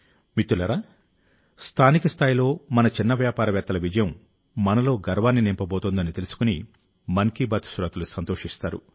మిత్రులారా స్థానిక స్థాయిలో మన చిన్న వ్యాపారవేత్తల విజయం మనలో గర్వాన్ని నింపబోతోందని తెలుసుకుని మన్ కీ బాత్ శ్రోతలు సంతోషిస్తారు